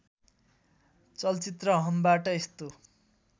चलचित्र हमबाट यस्तो